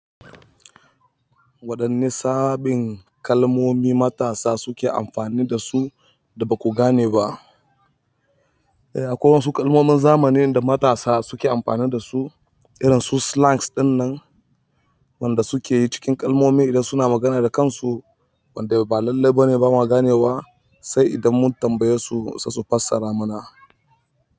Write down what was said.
Waɗanni sabbin kalmomi matasa suke amfani da su da ba ku gane ba? Eh akwai wasu kalmomin zamanin da matasa suke amfani da su irin su slangs ɗin nan, wanda suke cikin kalmomi idan suna magana da kansu wanda ba lailai ba ne ba ma gane wa sai idan mun tambaye su sai su fassara mana.